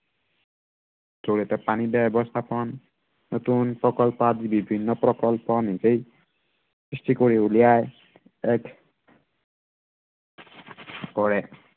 জড়িয়তে পানী ব্য়ৱস্থাপন, নতুন প্ৰকল্প আদি নিজেই সৃষ্টি কৰি উলিয়াই, এক কৰে